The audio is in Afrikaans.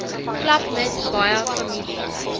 klapmuts baie families